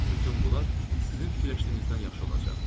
Bütün bunlar sizin fikirləşdiyinizdən yaxşı olacaq.